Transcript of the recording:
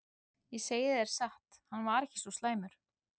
Ég segi þér satt- hann var ekki svo slæmur.